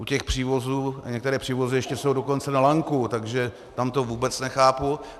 U těch přívozů, a některé přívozy ještě jsou dokonce na lanku, takže tam to vůbec nechápu.